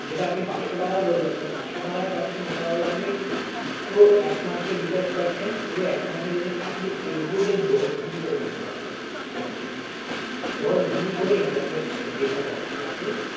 যেটা আপনি পাঁচশো টাকায় বললেন, যেটা পাঁচশো টাকায় পাচ্ছেন ওটা হল আপনি পুরো এক মাস এর recharge পাচ্ছেন। পুরো এক মাস এর recharge আপনি everyday দশ GB করে net পাবেন সেটাতে। দশ GB করে internet মানে data পাচ্ছেন আপনি